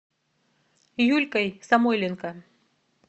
юлькой самойленко